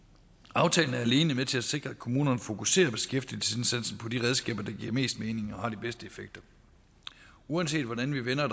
aftalen er alene med til at sikre at kommunerne fokuserer beskæftigelsesindsatsen på de redskaber der giver mest mening og har de bedste effekter uanset hvordan vi vender og